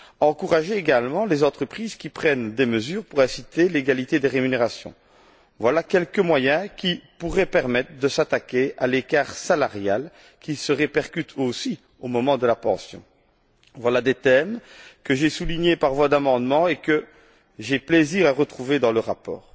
encourager également les entreprises qui prennent des mesures pour inciter l'égalité des rémunérations, voilà quelques moyens qui pourraient permettre de s'attaquer à l'écart salarial, que l'on retrouve aussi au moment de la pension. Ce sont là des thèmes que j'ai soulignés par voie d'amendements et que j'ai plaisir à retrouver dans le rapport.